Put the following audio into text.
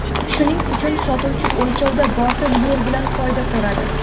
Shuning uchun sotuvchi o‘lchovda botil yo‘l bilan foyda ko‘radi.